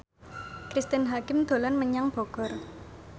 Cristine Hakim dolan menyang Bogor